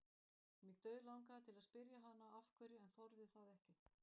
Mig dauðlangaði til að spyrja hana af hverju en þorði það ekki.